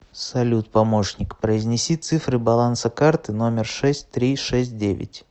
салют помощник произнеси цифры баланса карты номер шесть три шесть девять